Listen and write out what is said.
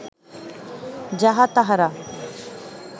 যাহা তাঁহারা